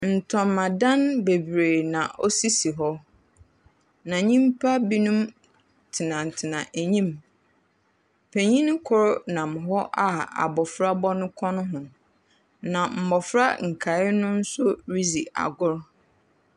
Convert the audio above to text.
Ntamadan beberee na osisi hɔ, na nyimpa binom tsenatsena enyim. Panyin kor nam hɔ a abofra bɔ no kɔn ho, na mbofra nkaa no so ridzi agor.